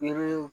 Yiri